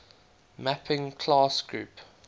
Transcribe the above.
mapping class group